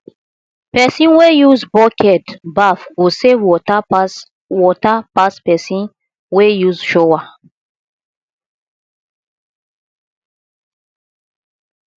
person wey use bucket baff go save water pass water pass pesin wey use shower